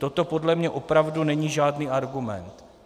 Toto podle mě opravdu není žádný argument.